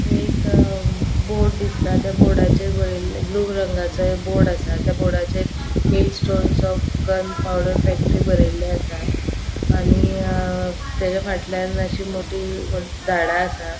एक बोर्ड दिसता त्या बोर्डाचेर बरेले ब्लू रंगाचो एक बोर्ड आसा त्या बोर्डाचेर milestones of gunpowder factory बरेले आसा आणि अ तेचा फाटल्यान अशी मोटी झाडा आसा.